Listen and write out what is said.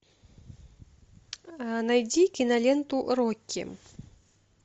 найди киноленту рокки